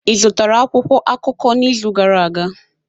Ị zụtara akwụkwọ akụkọ n'izu gara aga?